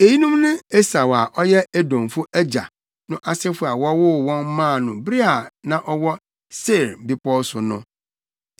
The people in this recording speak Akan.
Eyinom ne Esau a ɔyɛ Edomfo agya no asefo a wɔwoo wɔn maa no bere a na ɔwɔ Seir bepɔw so no.